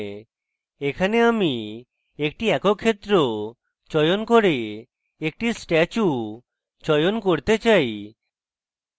এখানে আমি একটি একক ক্ষেত্র চয়ন করে একটি statue চয়ন করতে চাই